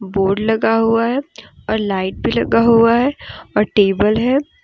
Board लगा हुआ है और लाइट भी लगा हुआ है और टेबल है।